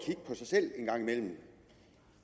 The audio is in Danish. sig selv en gang imellem